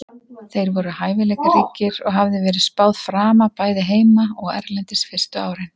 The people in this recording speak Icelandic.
Þeir voru hæfileikaríkir og hafði verið spáð frama bæði heima og erlendis fyrstu árin.